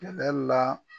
Kɛlɛ la